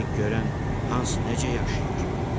Deyirdik görən hans necə yaşayır.